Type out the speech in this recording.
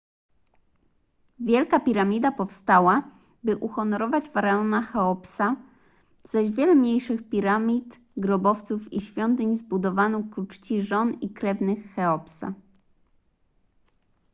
wielka piramida powstała by uhonorować faraona cheopsa zaś wiele mniejszych piramid grobowców i świątyń zbudowano ku czci żon i krewnych cheopsa